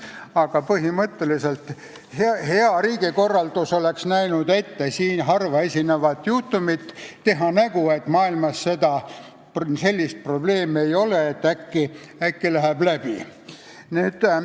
Aga hea riigikorraldus oleks näinud ette siin harva esinevat juhtumit: teha nägu, et maailmas sellist probleemi ei ole, lootes, et äkki läheb läbi.